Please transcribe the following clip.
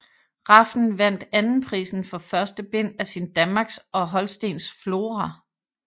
Rafn vandt andenprisen for første bind af sin Danmarks og Holsteens Flora